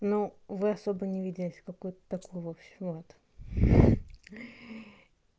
ну вы особо не видясь какой-то такой вовсю вот